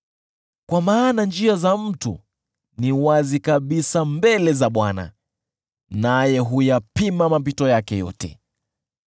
Kwa maana njia za mtu ni wazi kabisa mbele za Bwana , naye huyapima mapito yake yote.